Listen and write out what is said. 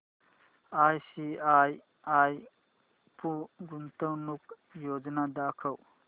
ICICI Pru गुंतवणूक योजना दाखव